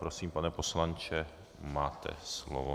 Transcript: Prosím, pane poslanče, máte slovo.